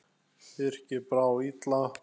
Birki brá illa.